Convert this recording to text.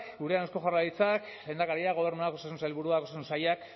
gurean eusko jaurlaritzak lehendakariak gobernuak osasun sailburuak osasun sailak